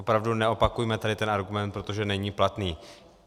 Opravdu neopakujme tady ten argument, protože není platný.